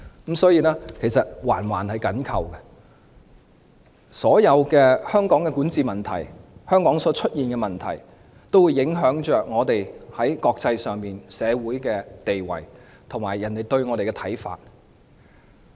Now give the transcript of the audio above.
各方面環環緊扣，香港所有的管治問題，香港所出現的各種問題，都會影響我們在國際社會上的地位及別人對我們的看法。